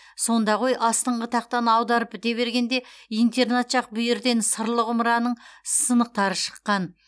сонда ғой астыңғы тақтаны аударып біте бергенде интернат жақ бүйірден сырлы құмыраның сынықтары шыққан